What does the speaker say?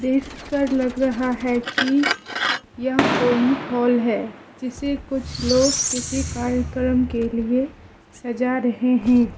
देखकर लग रहा है कि यह कोई हॉल है जिसे कुछ लोग किसी कार्यक्रम के लिए सज़ा रहे हैं।